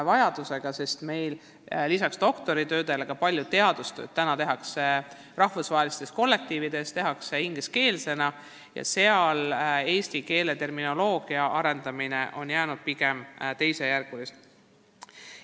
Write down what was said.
Lisaks meie oma doktoritöödele tehakse täna palju teadustööd rahvusvahelistes kollektiivides, see baseerub inglise keelel ja nii on eestikeelse terminoloogia arendamine jäänud pigem teisejärguliseks.